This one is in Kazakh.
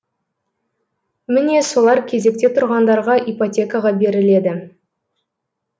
міне солар кезекте тұрғандарға ипотекаға беріледі